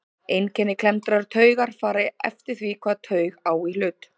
Einkenni klemmdrar taugar fara eftir því hvaða taug á í hlut.